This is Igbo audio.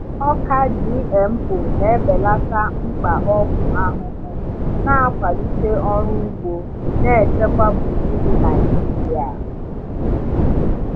Ọka GMO na-ebelata mkpa ọgwụ ahụhụ, na-akwalite ọrụ ugbo na-echekwa gburugburu Naijiria.